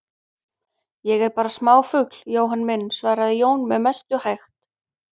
Ég er bara smáfugl, Jóhann minn, svaraði Jón með mestu hægt.